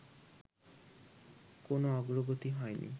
কোনো অগ্রগতি হয়নি